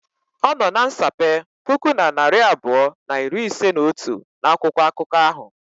Ọnọ na nsape puku na narị abụọ na iri ise na otu n'akwụkwọ akụkọ ahụ.